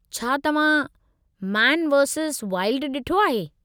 छा तव्हां man versus wild ॾिठो आहे।